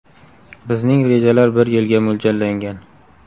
Bizning rejalar bir yilga mo‘ljallangan.